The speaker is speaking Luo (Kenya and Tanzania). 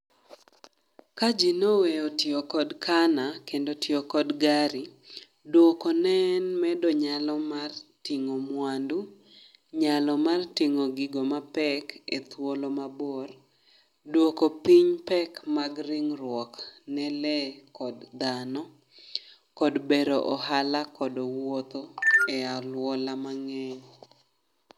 Ka ji noweyo tiyo kod kana kendo tiyo kod gari., dwoko ne en medo nyalo mar ting'o mwandu. Nyalo mar ting'o gigo ma pek e thuolo mabor, dwoko piny pek mag ring'ruok ne le kod dhano, kod bero ohala kod wuotho e alwola mang'eny.